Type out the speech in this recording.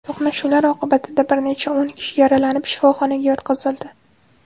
To‘qnashuvlar oqibatida bir necha o‘n kishi yaralanib, shifoxonaga yotqizildi.